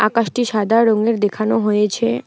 আকাশটি সাদা রঙের দেখানো হয়েছে।